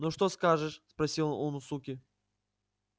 ну что скажешь спросил он у суки